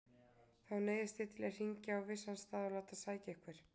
Þá neyðist ég til að hringja á vissan stað og láta sækja ykkur.